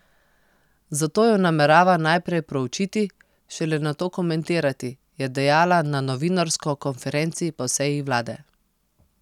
Zato jo namerava najprej proučiti, šele nato komentirati, je dejala na novinarsko konferenci po seji vlade.